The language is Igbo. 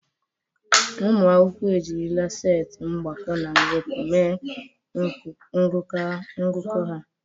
Ụmụ akwụkwọ ejirila setị mgbakọ na mwepụ mee ngụkọ ha.